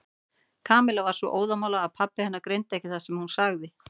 Kamilla var svo óðamála að pabbi hennar greindi ekki það sem hún sagði.